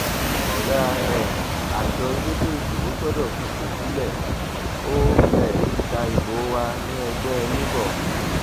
ọgá um àjọ elétò ìdìbò gbọdọ fipò sílẹ ó um ta ìbò wa níẹgbẹ labour